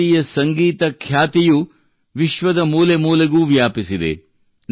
ಭಾರತೀಯ ಸಂಗೀತ ಖ್ಯಾತಿಯು ವಿಶ್ವದ ಮೂಲೆ ಮೂಲೆಗೂ ವ್ಯಾಪಿಸಿದೆ